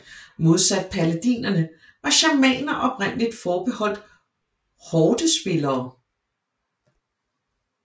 Modsat Paladinerne var shamaner oprindeligt forbeholdt hordespillere